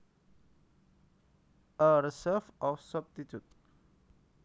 A reserve or substitute